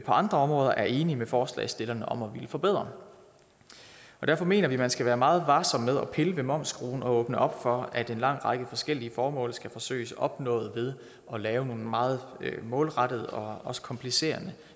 andre områder er enige med forslagsstillerne om at ville forbedre derfor mener vi at man skal være meget varsom med at pille ved momsskruen og åbne op for at en lang række forskellige formål skal forsøges opnået ved at lave nogle meget målrettede og også komplicerende